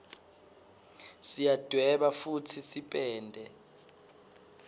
siyadweba futsi sipende